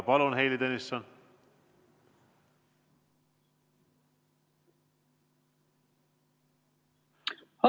Palun, Heili Tõnisson!